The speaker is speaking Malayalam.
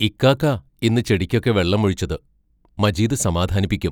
ഇയ്ക്കാക്കാ, ഇന്ന് ചെടിക്കൊക്കെ വെള്ളമൊഴിച്ചത് മജീദ് സമാധാനിപ്പിക്കും.